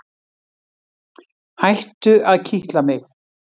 Hættu að kitla mig.